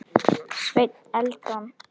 Sveinn Eldon.